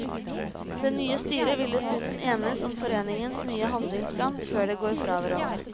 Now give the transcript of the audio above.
Det nye styret vil dessuten enes om foreningens nye handlingsplan før det går fra hverandre.